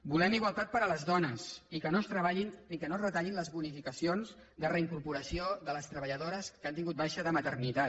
volem igualtat per a les dones i que no es retallin les bonificacions de reincorporació de les treballadores que han tingut baixa de maternitat